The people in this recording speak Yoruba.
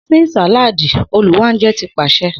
Sin saladi Oluwanje ti paṣẹ